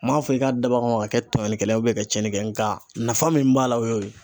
N m'a fɔ i k'a dab'a kama ka kɛ tɔɲɔlikɛla ka cɛnni kɛ nga nafa min b'a la o y'o ye.